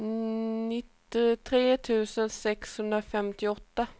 nittiotre tusen sexhundrafemtioåtta